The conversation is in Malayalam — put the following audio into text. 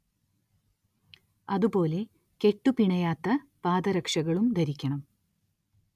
അതു പോലെ കെട്ടു പിണയാത്ത പാദരക്ഷകളും ധരിക്കണം